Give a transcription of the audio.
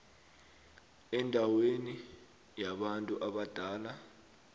endaweni yabantu abadala